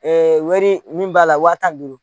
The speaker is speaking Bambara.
wari min b'a la wa tan ni duuru